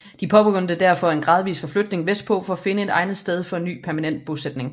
De påbegyndte derfor en gradvis forflytning vestpå for at finde et egnet sted for en ny permanent bosætning